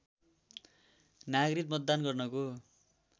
नागरिक मतदान गर्नको